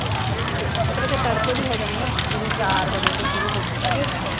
ਮਤਲਬ ਕੇ ਤੜਕੇ ਵੀ ਹੋ ਜਾਂਦੇ ਆ ਜਿਵੇਂ ਚਾਰ ਵਜੇ ਤੋਂ ਸ਼ੁਰੂ ਹੋ ਕੇ